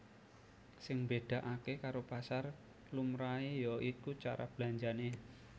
Sing mbedakake karo pasar lumrahe ya iku cara belanjane